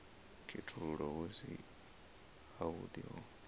khethululwa hu si havhuḓi ho